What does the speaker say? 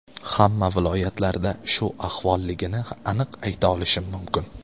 Hamma viloyatlarda shu ahvolligini aniq ayta olishim mumkin.